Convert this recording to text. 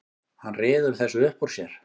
Hann ryður þessu upp úr sér.